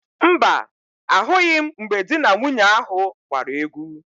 Mba, ahụghị m mgbe di na nwunye ahụ gbara égwú.